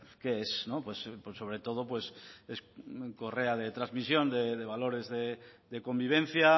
qué es sobre todo es correa de transmisión de valores de convivencia